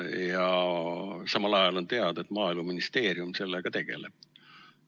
Samal ajal on teada, et Maaeluministeerium sellega tegeleb.